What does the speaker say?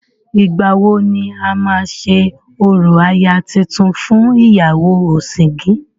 Ìgbàwo ni a máa ṣe orò aya tuntun fún ìyàwó ọ̀sìngín.?